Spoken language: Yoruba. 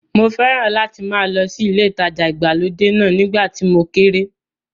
Mo fẹ́ràn láti máa lọ sí ilé ìtajà ìgbàlódé náà nígbà tí mo kéré.